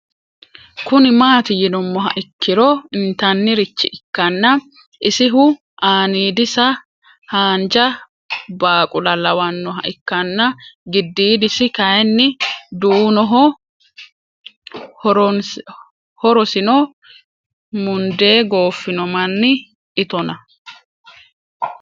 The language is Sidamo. Kuni mati yinumoha ikiro intanirich ikana isihu anidisa hanja baqula lawanoha ikana gididisi kayini duunoho hoorosino munde gofino Mani itona